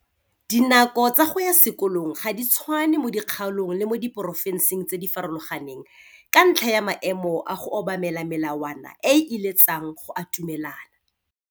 Dinako tsa go ya sekolong ga di tshwane mo dikgaolong le mo diporofenseng tse di farologaneng ka ntlha ya maemo a go obamela melawana e e iletsang go atumelana.